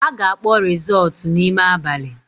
A ga-akpọ rizọọtụ n’ime abali